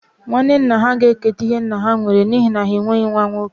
Nwanne nna ha ga-eketa ihe nna ha nwere n'ihi na ha enweghị nwa nwoke